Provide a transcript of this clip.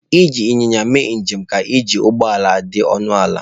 Iji Ịnyịnya igwe mee njem ka iji ụgbọ ala dị ọnụ ala.